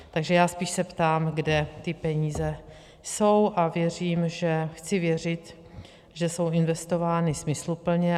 Takže já se spíše ptám, kde ty peníze jsou, a chci věřit, že jsou investovány smysluplně.